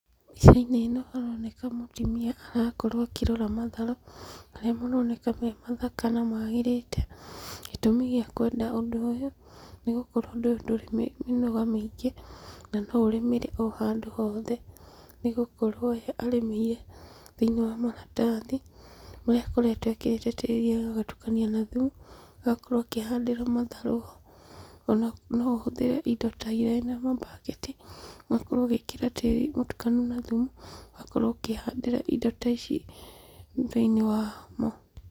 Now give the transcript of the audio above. Mbica-inĩ ĩno haroneka mũtumia, arakorwo akĩrora matharũ, marĩa maroneka memathaka na magĩrĩte. Gĩtũmi gĩakwenda ũndũ ũyũ, nĩgũkorwo ũndũ ũyũ, nĩgũkorwo ũndũ ũyũ ndũrĩ mĩnoga mĩingĩ, na noũrĩmĩre handũ ohothe, nĩgũkorwo ũyũ arĩmĩire thĩiniĩ wa maratathi, kũrĩa akoretwo ekĩrĩte tĩri agatukania na thumu, agakorwo akĩhandĩra matharũ ho. Ona noũhũthĩre indo ta iraĩ na mambaketi, ũgakorwo ũgĩkĩra tĩri mũtukanu na thumu, ũgakorwo ũkĩhandĩra indo ta ici thĩinĩ wa mo.